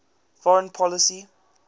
foreign policy